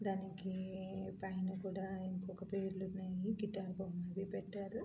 దానికి పైన కూడా ఇంకొక పేర్లున్నాయి గిటారు బొమ్మ అవి పెట్టారు.